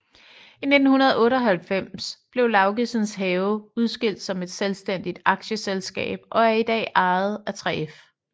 I 1998 blev Laugesens Have udskilt som et selvstændigt aktieselskab og er i dag ejet af 3F